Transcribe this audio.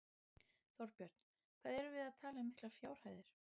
Þorbjörn: Hvað erum við að tala um miklar fjárhæðir?